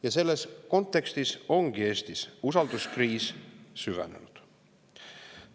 Ja selles kontekstis ongi Eestis usalduskriis süvenenud.